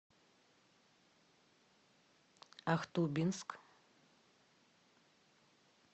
ахтубинск